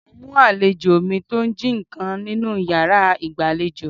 Mo mú àlejò mi tó ń jí ǹkan nínú yàrá ìgbàlejò.